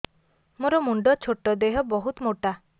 ମୋର ମୁଣ୍ଡ ଛୋଟ ଦେହ ବହୁତ ମୋଟା